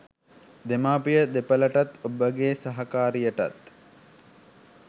දෙමාපිය දෙපොලටත් ඔබගෙ සහකාරියටත්